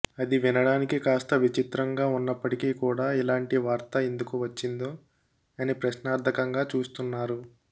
అది వినడానికి కాస్త విచిత్రంగా ఉన్నపటికీ కూడా ఇలాంటి వార్త ఎందుకు వచ్చిందో అని ప్రశ్నార్థకంగా చూస్తున్నారు